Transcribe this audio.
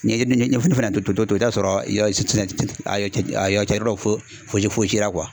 Ni e dun ye ɲɛfɔni fɛnɛ to to to to i taa'a sɔrɔ i yɔ si tinɛ ten ten a yɔ cɛ a yɔ cɛrdɔ fo foze fozera